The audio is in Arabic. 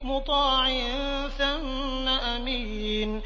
مُّطَاعٍ ثَمَّ أَمِينٍ